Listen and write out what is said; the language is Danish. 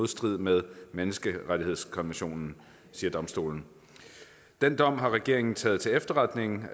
strid med menneskerettighedskonventionen siger domstolen den dom har regeringen taget til efterretning